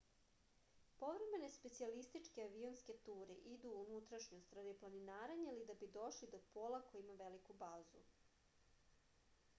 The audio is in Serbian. povremene specijalističke avionske ture idu u unutrašnjost radi planinarenja ili da bi došli do pola koji ima veliku bazu